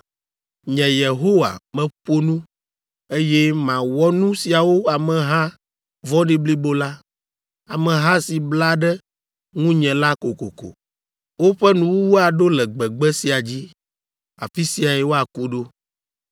Nye, Yehowa, meƒo nu, eye mawɔ nu siawo ameha vɔ̃ɖi blibo la, ameha si bla ɖe ŋunye la kokoko. Woƒe nuwuwu aɖo le gbegbe sia dzi; afi siae woaku ɖo.”